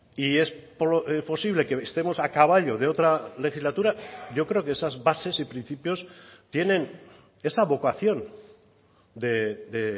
y es posible que estemos a caballo de otra legislatura yo creo que esas bases y principios tienen esa vocación de